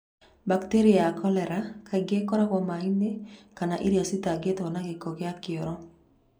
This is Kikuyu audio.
Bacterium ya kolera kaingĩ ĩrogwo maĩnĩ kana irio cĩtangito nĩ giko kĩa kĩoro.